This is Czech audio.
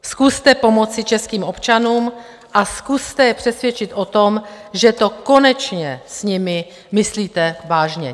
Zkuste pomoci českým občanům a zkuste je přesvědčit o tom, že to konečně s nimi myslíte vážně.